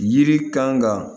Yiri kan ka